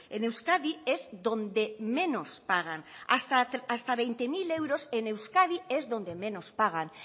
en euskadi es donde menos pagan hasta veinte mil euros en euskadi es donde menos pagan